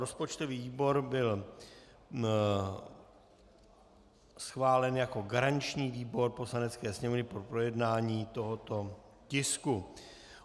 Rozpočtový výbor byl schválen jako garanční výbor Poslanecké sněmovny pro projednání tohoto tisku.